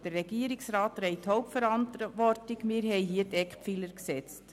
Der Regierungsrat trägt die Hauptverantwortung, wir haben hier die Eckpfeiler gesetzt.